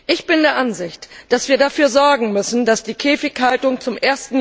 Ich bin der Ansicht, dass wir dafür sorgen müssen, dass die Käfighaltung zum